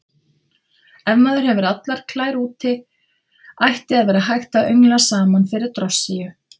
Ef maður hefur allar klær úti ætti að vera hægt að öngla saman fyrir drossíu.